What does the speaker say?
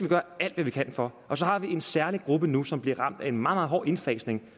gøre alt hvad vi kan for og så har vi en særlig gruppe nu som bliver ramt af en meget meget hård indfasning